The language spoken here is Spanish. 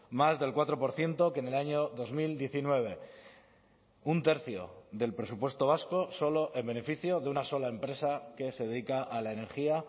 más del cuatro por ciento que en el año dos mil diecinueve un tercio del presupuesto vasco solo en beneficio de una sola empresa que se dedica a la energía